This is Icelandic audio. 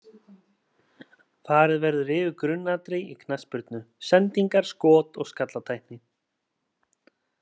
Farið verður yfir grunnatriði í knattspyrnu: Sendingar, skot og skallatækni.